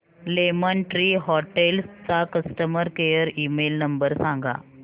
lemon Tree Hotels चा customer care email number सांगा